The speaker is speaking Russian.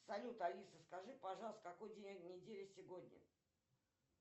салют алиса скажи пожалуйста какой день недели сегодня